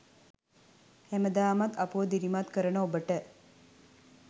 හැමදාමත් අපව දිරිමත් කරන ඔබට